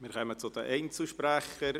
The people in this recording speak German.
Wir kommen zu den Einzelsprechern.